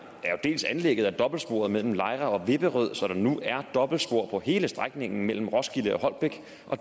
dels anlægget af dobbeltsporet mellem lejre og vipperød så der nu er dobbeltspor på hele strækningen mellem roskilde og holbæk